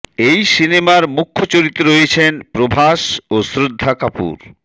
এই সিনেমার মুখ্য চরিত্রে রয়েছেন প্রভাস ও শ্রদ্ধা কাপুর